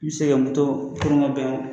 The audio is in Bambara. N bɛ se ka moto koron ka bɛn o